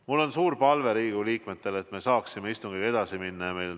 Mul on suur palve Riigikogu liikmetele, et me saaksime istungiga edasi minna.